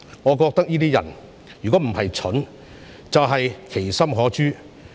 我覺得這些人若非愚蠢，就是其心可誅。